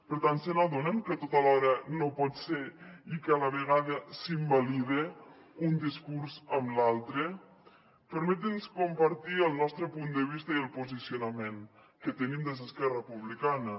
per tant se n’adonen que tot alhora no pot ser i que a la vegada s’invalida un discurs amb l’altre permetin nos compartir el nostre punt de vista i el posicionament que tenim des d’esquerra republicana